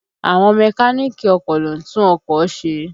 Àwọn Mẹ́káníìkì ọkọ̀ ló ń tún ọkọ̀ ṣe